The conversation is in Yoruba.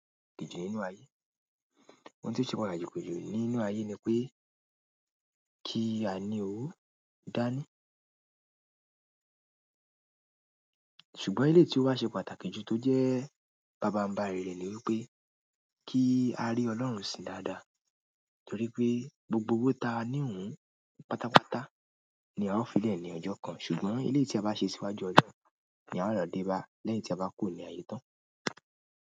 Ohun ti o se pàtàkì ju nínú aye ni pe, ki a ni owo dani ṣùgbọ́n eléyii tí ó wá ṣe pàtàkì jù tó jẹ́ bàbáńri rẹ̀ ni wípé kí a rí Ọlọ́run sin dáadáa. Torí pé gbogbo owó ta ní òun pátápátá ni a ó fi lẹ̀ ní ọjọ́ kan ṣùgbọ́n eléyii tí a bá ṣe síwájú Ọlọ́run ni a ó lo dé bá lẹ́yìn tí a bá kúrò ní ayé tán.